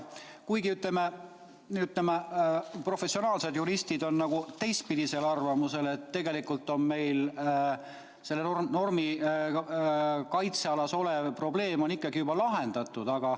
Kuid professionaalsed juristid on teistpidisel arvamusel, et tegelikult on meil selle normi kaitsealas olev probleem juba lahendatud.